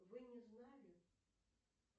вы не знали